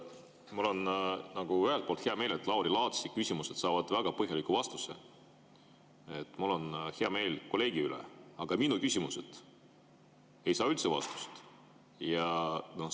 Mul on ühelt poolt hea meel, et Lauri Laatsi küsimused saavad väga põhjaliku vastuse, mul on hea meel kolleegi üle, aga minu küsimused ei saa üldse vastust.